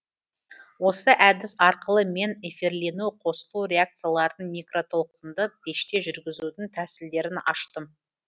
осы әдіс арқылы мен эфирлену қосылу реакцияларын микротолқынды пеште жүргізудің тәсілдерін аштым